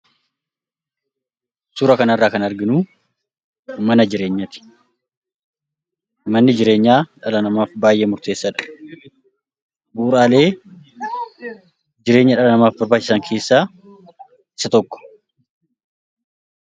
Suura kana irraa kan arginu, mana jireenyaati. Manni jireenyaa dhala namaatiif baayyee murteessaadha. Bu'uuraalee jireenya dhala namaatiif barbaachisan keessaa isa tokko.